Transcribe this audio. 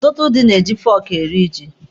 Ọtụtụ ndị na-eji fọọkụ eri ji.